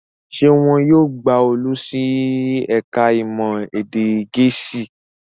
Ṣé wọn yóò gba Olú sí ẹ̀ka-ìmọ̀ èdè Gẹ̀ẹ́sì?